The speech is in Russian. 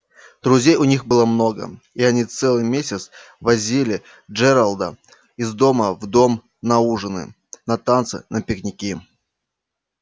друзей у них было много и они целый месяц возили джералда из дома в дом на ужины на танцы на пикники